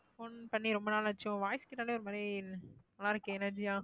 phone பண்ணி ரொம்ப நாளாச்சே. உன் voice கேட்டாலே ஒரு மாதிரி நல்லாருக்கு energy ஆ